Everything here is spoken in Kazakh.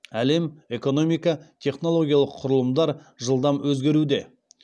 әлем экономика технологиялық құрылымдар жылдам өзгеруде